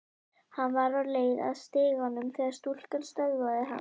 Hann var á leið að stiganum þegar stúlkan stöðvaði hann.